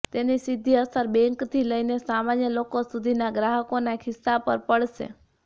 તેની સીધી અસર બેંકથી લઈને સામાન્ય લોકો સુધીના ગ્રાહકોના ખિસ્સા પર પડશે